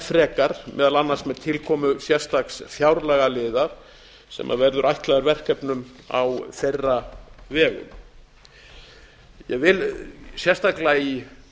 frekar meðal annars með tilkomu sérstaks fjárlagaliðar sem verður ætlaður verkefnum á þeirra vegum ég vil sérstaklega í